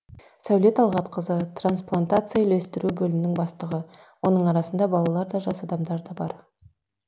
сәуле талғатқызы трансплантацияны үйлестіру бөлімінің бастығы оның арасында балалар да жас адамдар бар